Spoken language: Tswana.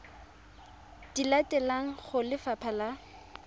di latelang go lefapha la